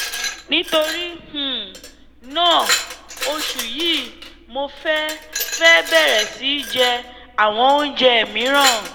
nítorí um náà oṣù yìí mo fẹ́ fẹ́ bẹ̀rẹ̀ sí í jẹ àwọn oúnjẹ mìíràn